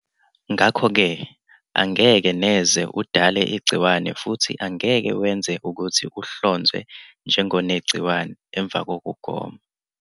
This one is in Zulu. Ngakho-ke angeke neze udale igciwane futhi angeke wenze ukuthi uhlonzwe njengonegciwane emva kokugoma.